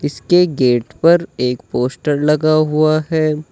इसके गेट पर एक पोस्टर लगा हुआ है।